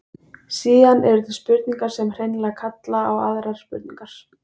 Síðan eru til spurningar sem hreinlega kalla á aðrar spurningar.